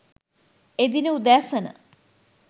එදින උදෑසන .